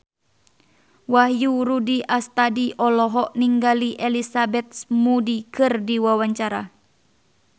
Wahyu Rudi Astadi olohok ningali Elizabeth Moody keur diwawancara